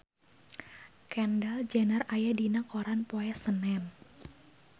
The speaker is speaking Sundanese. Kendall Jenner aya dina koran poe Senen